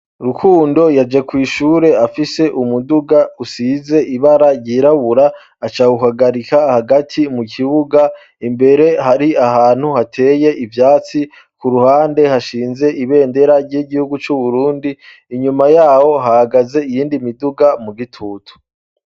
rukundo yaje kw' ishure afise umuduga usize ibara ryirabura acahuhagarika hagati mu kibuga imbere hari ahantu hateye ivyatsi ku ruhande hashinze ibendera ry'igihugu c'uburundi inyuma yawo hagaze iyindi miduga mu gitutu